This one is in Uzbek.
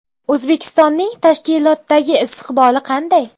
O‘zbekistonning tashkilotdagi istiqboli qanday?